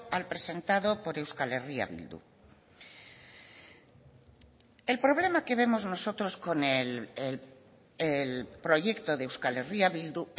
al presentado por euskal herria bildu el problema que vemos nosotros con el proyecto de euskal herria bildu